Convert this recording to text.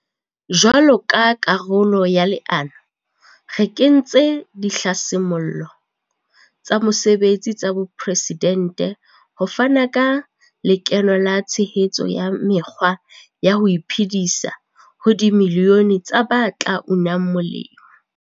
Jwalo ka karolo ya leano, re kentse Dihlasimollo tsa Mosebetsi tsa Bopresidente ho fana ka lekeno le tshehetso ya mekgwa ya ho iphe disa ho dimilione tsa ba tla unang molemo.